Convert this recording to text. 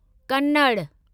Kannada